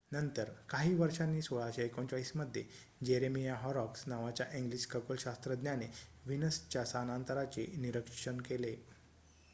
नंतर काही वर्षांनी 1639 मध्ये जेरेमिया हॉरॉक्स नावाच्या इंग्लिश खगोलशास्त्रज्ञाने व्हीनसच्या स्थानांतराचे निरीक्षण केले